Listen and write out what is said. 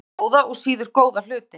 Gerði bæði góða og síður góða hluti.